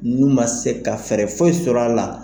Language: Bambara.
N'u ma se ka fɛɛrɛ foyi sɔr'a la,